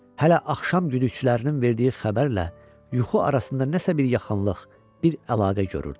Hələ axşam güdüklərinin verdiyi xəbərlə yuxu arasında nəsə bir yaxınlıq, bir əlaqə görürdü.